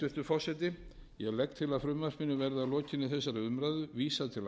forseti ég legg til að frumvarpinu verði að lokinni þessari umræðu vísað til